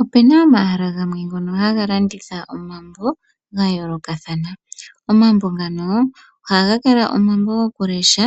Opena omahala ngono haga landitha omambo ga yoolokathana. Omambo ngano ohaga kala gokulesha